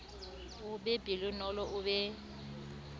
a be pelonolo a be